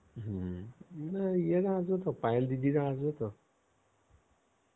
হম ইয়েরা আসবেতো পায়েল দিদিরা আসবেতো